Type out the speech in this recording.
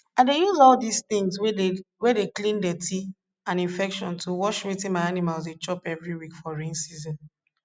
i dey use all dis tins wey dey clean dirty and infection to wash wetin my animals dey chop every week for rain season